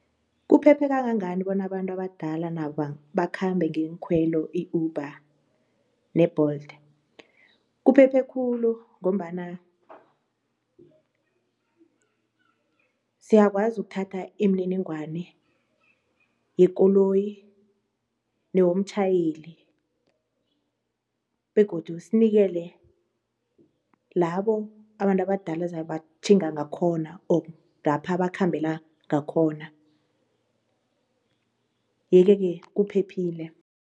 Kuphephe kangangani bona abantu abadala nabo bakhambe ngeenkhwelo i-Uber ne-Bolt? Kuphephe khulu ngombana siyakwazi ukuthatha imininingwana yekoloyi newomtjhayeli begodu sinikele labo abantu abadala zabe batjhinga ngakhona or lapho ngapha bakhambela ngakhona yeke-ke kuphephile.